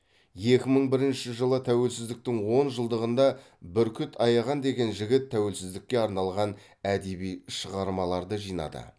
екі мың бірінші жылы тәуелсіздіктің он жылдығында бүркіт аяған деген жігіт тәуелсіздікке арналған әдеби шығармаларды жинады